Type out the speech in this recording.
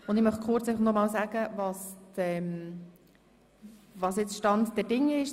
Ich möchte kurz wiederholen, was der Stand der Dinge ist.